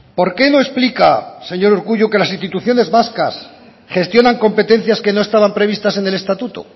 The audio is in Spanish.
por qué no explica señor urkullu que las instituciones vascas gestionan competencias que no estaban previstas en el estatuto